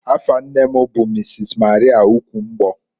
Afa nne m bụ Mrs. Maria Ugwumgbo.